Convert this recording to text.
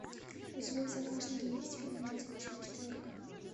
у тебя в загашнике есть фильм неразлучная четверка